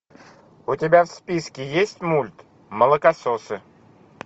у тебя в списке есть мульт молокососы